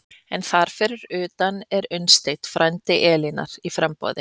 En þar fyrir utan er Unnsteinn, frændi Elínar, í framboði.